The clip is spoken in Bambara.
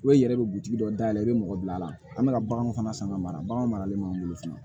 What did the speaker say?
I bɛ i yɛrɛ be butigi dɔ dayɛlɛ i be mɔgɔ bila a la an be ka baganw fana san ka mara baganw maralen b'an bolo fana